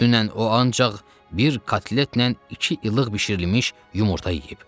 Dünən o ancaq bir kotletlə iki ilıq bişirilmiş yumurta yeyib.